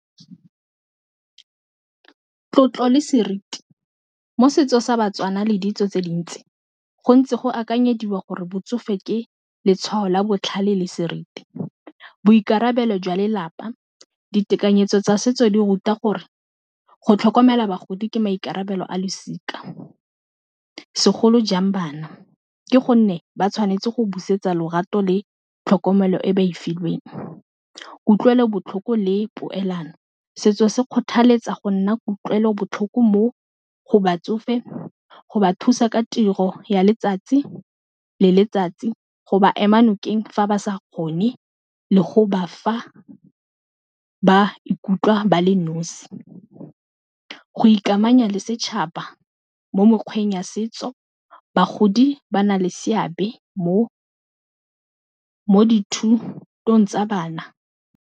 Tlotlo le seriti mo setsong sa Batswana le ditso tse dintsi gontsi go akanyediwa gore botsofe ke letshwao la botlhale le seriti, boikarabelo jwa lelapa. Ditekanyetso tsa setso di ruta gore go tlhokomela bagodi ke maikarabelo a losika, segolo jang bana ke gonne ba tshwanetse go busetsa lorato le tlhokomelo e ba e filweng, kutlwelobotlhoko le poelano, setso se kgothaletsa go nna kutlwelobotlhoko mo go batsofe go ba thusa ka tiro ya letsatsi le letsatsi go ba ema nokeng fa ba sa kgone le go ba fa ba ikutlwa ba le nosi, go ikamanya le setšhaba mo mekgweng ya setso, bagodi ba na le seabe mo dithutong tsa bana.